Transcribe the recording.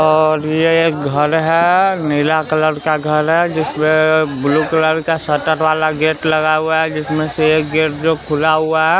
और यह एक घर है नीला कलर का घर है जिसमें ब्लू कलर का शटर वाला गेट लगा हुआ है जिसमें से एक गेट जो खुला हुआ है।